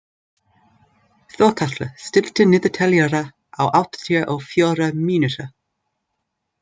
Þorkatla, stilltu niðurteljara á áttatíu og fjórar mínútur.